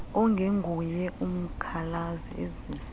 ongenguye umkhalazi ezisa